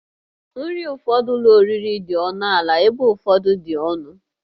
Nri ụfọdụ ụlọ oriri dị ọnụ ala ebe ụfọdụ dị ọnụ